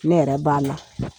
Ne yɛrɛ b'a la.